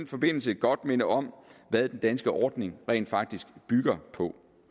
forbindelse godt minde om hvad den danske ordning rent faktisk bygger på